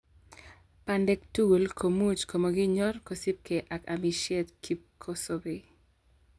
Bandek tugul komuch komokinyor kosiibge ak amisietab kipkosobei.